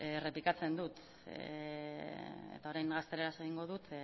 eta errepikatzen dut eta orain gazteleraz egingo dut